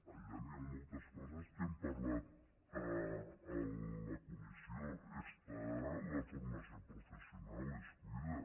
allà hi han moltes coses que hem parlat a la comissió hi ha la formació professional es cuida